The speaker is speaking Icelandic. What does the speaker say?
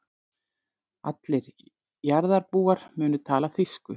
Allir jarðarbúar munu tala þýsku.